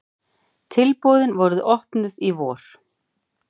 Tilboðin voru opnuð í vor.